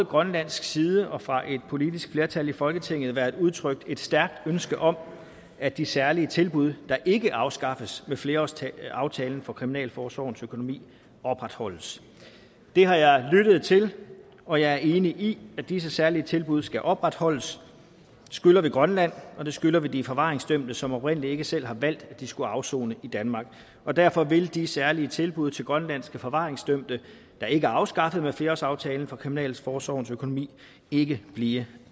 grønlands side og fra et politisk flertal i folketingets side været udtrykt et stærkt ønske om at de særlige tilbud der ikke afskaffes ved flerårsaftalen for kriminalforsorgens økonomi opretholdes det har jeg lyttet til og jeg er enig i at disse særlige tilbud skal opretholdes det skylder vi grønland og det skylder vi de forvaringsdømte som oprindelig ikke selv har valgt at de skulle afsone i danmark og derfor vil de særlige tilbud til grønlandske forvaringsdømte der ikke er afskaffet med flerårsaftalen for kriminalforsorgens økonomi ikke blive